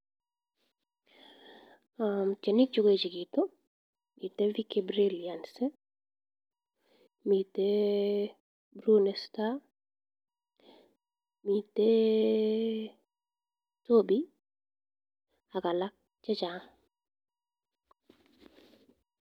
Tienik che koechegitu, miten Brilliance, miten Bruni Star, miten, ak alak chechang.